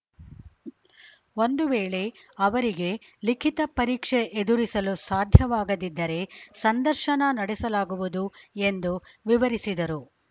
ಒಂದು ವೇಳೆ ಅವರಿಗೆ ಲಿಖಿತ ಪರೀಕ್ಷೆ ಎದುರಿಸಲು ಸಾಧ್ಯವಾಗದಿದ್ದರೆ ಸಂದರ್ಶನ ನಡೆಸಲಾಗುವುದು ಎಂದು ವಿವರಿಸಿದರು